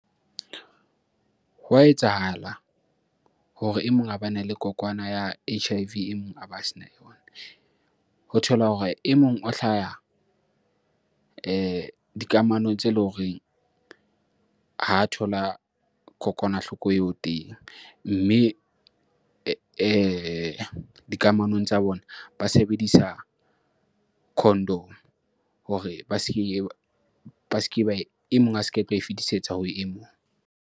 Hwa etsahala hore e mong a bana le kokwana ya H_I_V e mong a ba sena yona. Ho thola hore e mong o hlaha dikamano tse leng horeng ha thola kokwanahloko eo teng, mme dikamanong tsa bona ba sebedisa condom hore ba seke ba, e mong a se ke ae fetisetsa ho e mong.